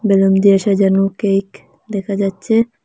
রঙ দিয়ে সাজানো কেক দেখা যাচ্ছে।